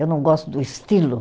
Eu não gosto do estilo.